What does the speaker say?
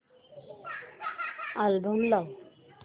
album लाव